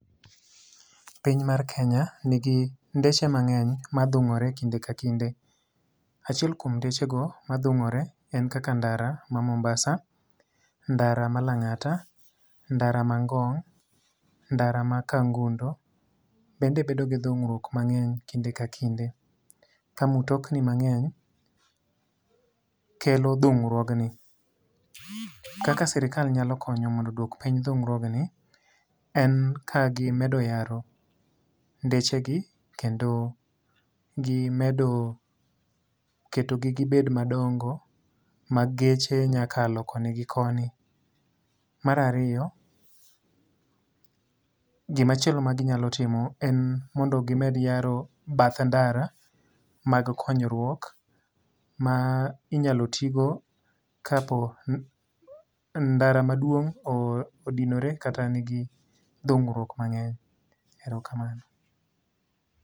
Piny mar Kenya nigi ndeche mangény, madhungore kinde ka kinde. Achiel kuom ndechego madhungore en kaka ndara ma Mombasa, ndara ma Langata, ndara ma Ngong', ndara ma Kangundo bende bedo gi dhungruok mangény kinde ka kinde. Ka mtokni mang'eny kelo dhungruogni. Kaka sirkal nyalo konyo mondo oduok piny dhungruogni, en ka gimedo yaro ndeche gi, kendo gimedo keto gi gibed madongo, ma geche nya kalo koni gi koni. Mar ariyo, gima chielo ma ginyalo timo, en mondo gimed yaro bath ndara, mag konyruok, ma inyalo ti go, ka po ndara maduong' odinore kata nigi dhungruok mangény.